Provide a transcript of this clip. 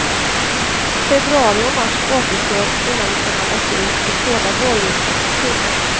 Februari och mars återstår innan vi kan andas ut och skåda vårljuset i tunneln.